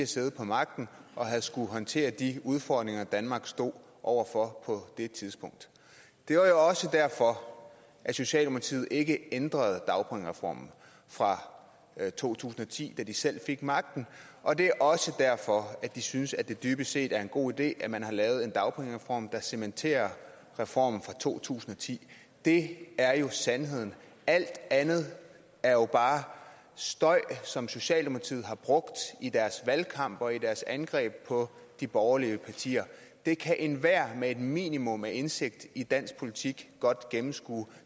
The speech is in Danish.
siddet på magten og havde skullet håndtere de udfordringer danmark stod over for på det tidspunkt det var jo også derfor at socialdemokratiet ikke ændrede dagpengereformen fra to tusind og ti da de selv fik magten og det er også derfor at de synes at det dybest set er en god idé at man har lavet en dagpengereform der cementerer reformen fra to tusind og ti det er jo sandheden og alt andet er bare støj som socialdemokratiet har brugt i deres valgkamp og i deres angreb på de borgerlige partier det kan enhver med et minimum af indsigt i dansk politik godt gennemskue